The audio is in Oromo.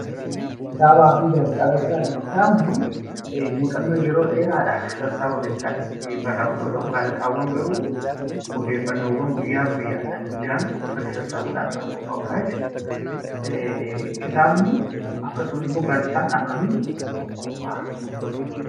Kitaabaa fi Gaazexaa gaafa ilaallu, kitaabni muuxannoo yeroo dheeraadhaan sassaabameen kan barraa'u yoo ta'u, Gaazexaawwan garuu odeeffannoowwan guyyaa guyyaa dhaan jiran walitti sassaabuudhaan kan qophaa'udha jechuu dha. Kitaabni yookiin Gaazexaan akkamiin qophaa'a?